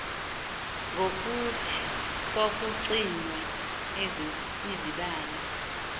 ngokuthi kwakucinywa izibane